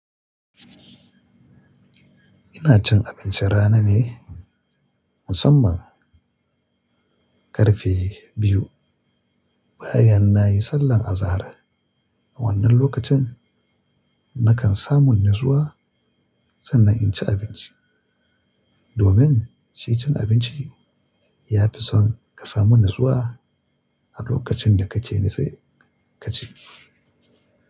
Ina cin abincin rana ne musamman karfe biyu bayan nayi sallar azahar. A wannan lokacin nakan samu natsuwa sannan in ci abinci. Domin shi cin abinci ya fi son ka samu natsuwa a lokacin da kake natse sai ka ci.